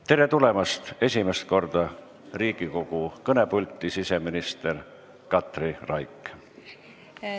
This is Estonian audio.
Tere tulemast esimest korda Riigikogu kõnepulti, siseminister Katri Raik!